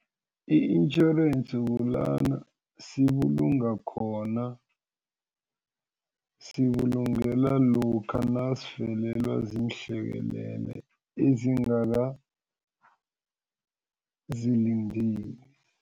I-insurance kulana sibulunga khona sibulungela lokha nasivelelwa ziinhlekelele ezingakazilindeli.